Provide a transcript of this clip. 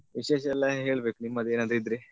ವಿಶೇಷ ಎಲ್ಲ ಹೇಳ್ಬೇಕು ನಿಮ್ಮದೇ ಏನಾದ್ರು ಇದ್ರೆ.